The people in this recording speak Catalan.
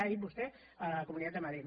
ho ha dit vostè a la comunitat de madrid